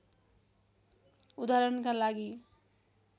उदाहरणका लागि